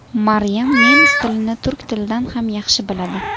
Maryam nemis tilini turk tilidan ham yaxshi biladi.